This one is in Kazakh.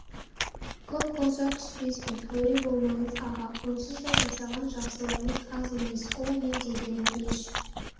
көп болса түспеспін әуре болмаңыз аға онсыз да жасаған жақсылығыңыз аз емес ол не дегенің еш